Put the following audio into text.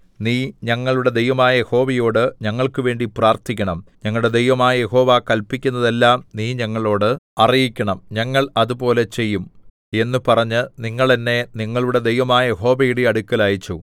നീ ഞങ്ങളുടെ ദൈവമായ യഹോവയോട് ഞങ്ങൾക്കുവേണ്ടി പ്രാർത്ഥിക്കണം ഞങ്ങളുടെ ദൈവമായ യഹോവ കല്പിക്കുന്നതെല്ലാം നീ ഞങ്ങളോട് അറിയിക്കണം ഞങ്ങൾ അതുപോലെ ചെയ്യും എന്നു പറഞ്ഞ് നിങ്ങൾ എന്നെ നിങ്ങളുടെ ദൈവമായ യഹോവയുടെ അടുക്കൽ അയച്ചു